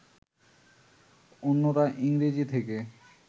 অন্যরা ইংরেজি থেকে